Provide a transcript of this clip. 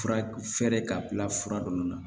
Fura fɛrɛ k'a bila fura ninnu na